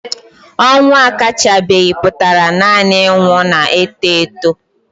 Ọnwụ akachabeghị pụtara nanị ịnwụ na-eto eto.